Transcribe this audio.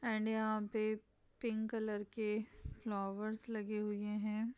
And यहां पे pink colour के फ्लावर्स लगे हुए है।